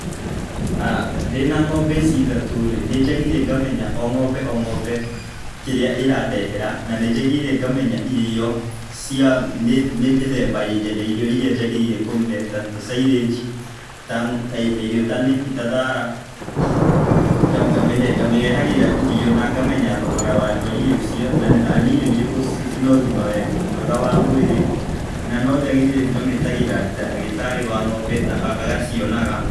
Ndĩna ng'ombe ici ithatũ rĩ nĩ njagĩrĩire ngamenya o ng'ombr o ng'ombe kĩrĩa ĩrandehera na nĩ njagĩrĩirwo ngamenya irio. Nĩ mĩthemba ya irio ĩria njagĩrĩirwo kũmĩhe ta silage ta irio ta thara, ngamĩrehagĩra irio na ngamenya thogora wa irio icio. Na nĩ irio irĩkũ cina ũgima mwega wa mwĩrĩ na no njagĩriire ngamĩtagĩra ndagĩtarĩ wa ng'ombe agacionaga.